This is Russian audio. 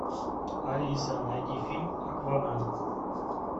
алиса найди фильм аквамен